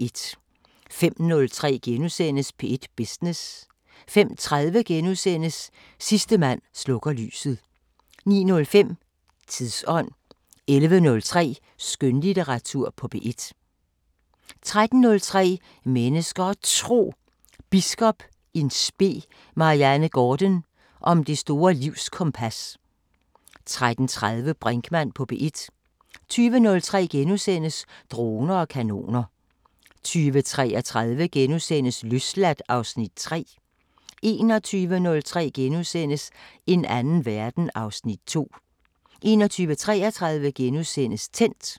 05:03: P1 Business * 05:30: Sidste mand slukker lyset * 09:05: Tidsånd 11:03: Skønlitteratur på P1 13:03: Mennesker og Tro: Biskop in spe Marianne Gaarden om det store livskompas 13:30: Brinkmann på P1 20:03: Droner og kanoner * 20:33: Løsladt (Afs. 3)* 21:03: En anden verden (Afs. 2)* 21:33: Tændt *